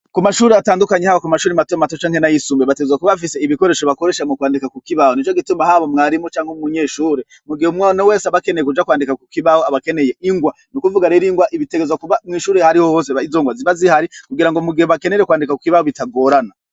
Ku mashuri atandukanye haba ku mashuri mato mato canke n'ayisumbuye bategerezwa kuba bafise ibikoresho bakoresha mu kwandika ku kibaho, nico gituma haba mwarimu canke umunyeshure mu gihe umuntu wese abakeneye kuja kwandika ku kibaho aba akeneye ingwa, n'ukuvuga rero ingwa ibitegerezwa kuba mw'ishuri ahari ho hose izo ngwa ziba zihari kugira ngo mu gihe bakeneye kwandika ku kibaho bitagorana.